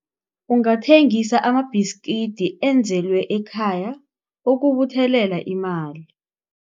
Ungathengisa amabhiskidi enzelwe ekhaya ukubuthelela imali.